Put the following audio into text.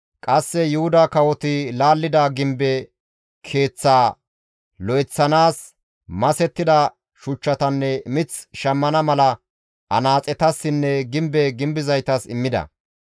Qasse Yuhuda kawoti laallida gimbe keeththaa lo7eththanaas masettida shuchchatanne mith shammana mala anaaxetassinne gimbe gimbizaytas immida.